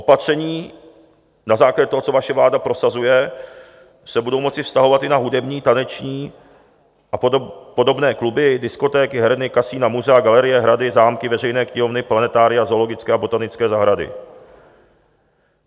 Opatření na základě toho, co vaše vláda prosazuje, se budou moci vztahovat i na hudební, taneční a podobné kluby, diskotéky, herny, kasina, muzea, galerie, hrady, zámky, veřejné knihovny, planetária, zoologické a botanické zahrady.